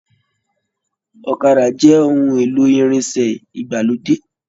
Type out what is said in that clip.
Ọ̀kàdà jẹ ohùn èlò irinṣẹ ìgbàlódé.